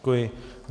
Děkuji.